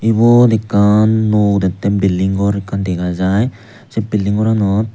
ibot ekkan nuo udettey bilding gor ekkan dega jaai sei bilding goranot.